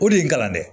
O de y'i kalan dɛ